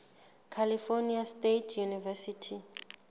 california state university